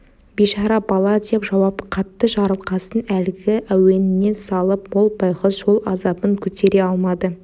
бейшара бала деп жауап қатты жарылқасын әлгі әуеніне салып ол байғұс жол азабын көтере алмады